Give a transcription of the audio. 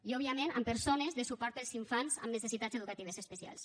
i òbviament amb persones de suport per als infants amb necessitats educatives especials